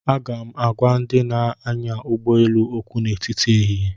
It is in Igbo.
Aga m agwa ndị na-anya ụgbọ elu okwu n'etiti ehihie